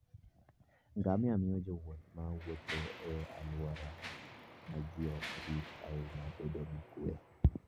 Ngamia miyo jowuoth ma wuotho e alwora ma ji ok rit ahinya bedo gi kuwe.